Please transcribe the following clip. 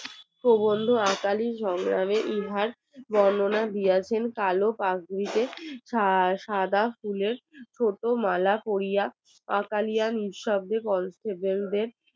বর্ণনা দিয়াছেন কালো পাকড়িতে সাদা ফুলের ছোট মালা পরিয়া নিস্তব্দে পরস্পরের